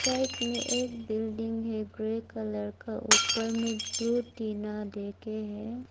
Side एक में एक बिल्डिंग है ग्रे कलर का ऊपर में ब्लू टीना देके है।